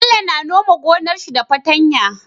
Bello na nome gonar shi da fatan ya